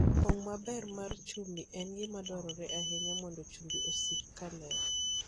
Pong' maber mar chumbi en gima dwarore ahinya mondo chumbi osik ka ler.